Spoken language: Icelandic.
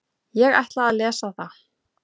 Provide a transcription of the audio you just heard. Ég ætla að lesa það.